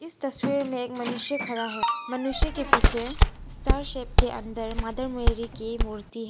इस तस्वीर में एक मनुष्य खड़ा है मनुष्य के पीछे स्टार सेप के अंदर मदर मैरी की मूर्ति है।